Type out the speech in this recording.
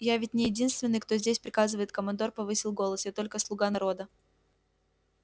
я ведь не единственный кто здесь приказывает командор повысил голос я только слуга народа